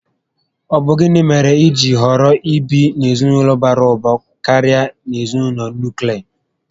Ọbu gịnị mèrè ijiri họrọ ibi n'ezinaulo bara ụba karịa na ezinaụlọ nuklia?